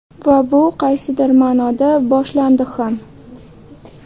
Va bu qaysidir ma’noda boshlandi ham.